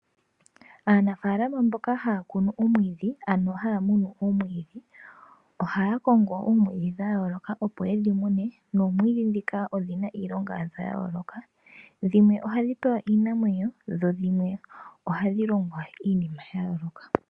Aanafalama mboka haya kunu omwiidhi ano haya munu omwiidhi ohaya kongo oomwiidhi dha yooloka opo yedhi mune . Noomwidhi ndhika odhi na iilonga yadho yooloka dhimwe ohadhi pewa iinamwenyo dho dhimwe ohadhi longwa iinima ya yooloka.